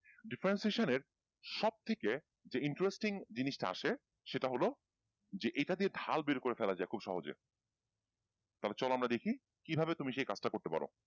differentiation এর সবথেকে যে interesting জিনিস টা আসে সেটা হল যে এটা দিয়ে ঢাল বের করে ফেলা যায় খুব সহজে তাহলে চলো আমরা দেখি কিভাবে তুমি সেই কাজটা করতে পারো।